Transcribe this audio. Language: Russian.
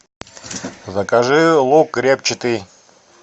закажи лук репчатый